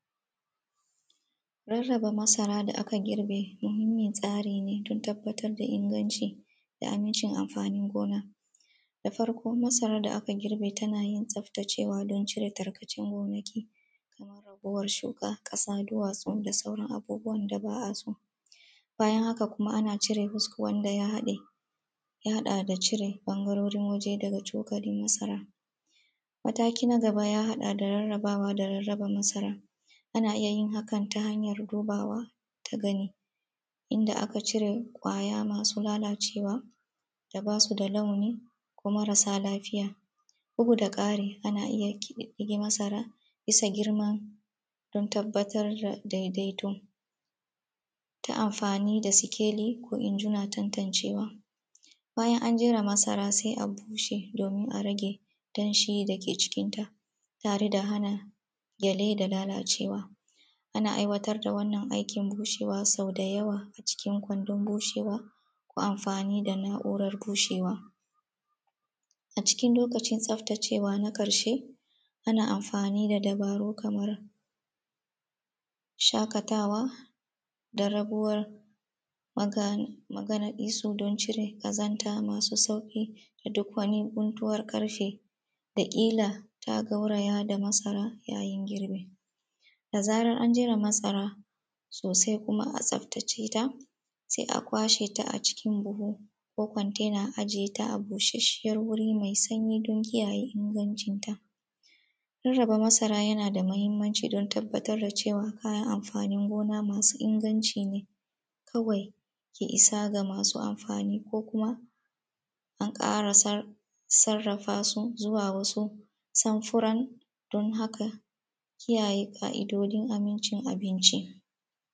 Rarraba masara da aka girbe muhimmin tsari ne, don tabbatar da inganci da amncin amfanin gona. Da farko masarar da aka girbe tana yin tsaftacewa don cire tarkacen gonaki,, ragowar shuka, ƙasa, duwatsu da dauran abubuwwan da ba a so. Bayan haka kuma ana cire hos wanda ya haɗe ya haɗa da cire ɓangarori waje daga cokalin masara,. Mataki na nag aba ya haɗa da rarraba da rarraba masara, a na iya yin hakan ta hanyar dubawa ta gani, inda aka cire ƙwaya masu lalacewa da bas u da launi ko marasa lafiya. Bugu-da-ƙari ana iya ƙididdge masara siba girma don tabbatar da daidaito ta amfani da sikeli ko injina tantancewa. Bayan an jera masara sai a bushe domin a rage danshi dake cikinta, tare da hana gyale da lalacewa. Ana aiwatar da wannan aikin bushewa so da yawa a cikin kwandon bushewa ko amfani da na’uran bushewa. A cikin lokacin bushewa na ƙarshe, ana amfani da dabaru kamar shaƙatawa da rabuwar mana manaɗisu don cire ƙazanta masu sauƙi. Da duk wata guntuwarƙarfe dake kila za a garwaya da masara yayin girbi. Da zaran an jera masara sosai, kuma a tsaftace ta, sai a kwashe ta a cikin buhu ko kontena a ajiye ta a bushasshiyar wuri mai sanyi don kiyaye ingancin ta. Rarraba masara yana da muhimmanci don tabbatar da cewa kaya amfanin gona masu inganci ne, kawai ke isa ga masu amfani ko kuma, an ƙara sar sarafa su zuwa wasu sanfuran, don haka kiyaye ƙa’idojin amincin abinci.